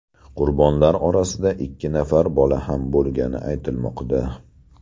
Qurbonlar orasida ikki nafar bola ham bo‘lgani aytilmoqda.